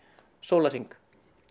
sólarhring